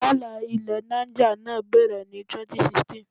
Wàhálà ilẹ̀ Niger náà bẹ̀rẹ̀ ní 2016.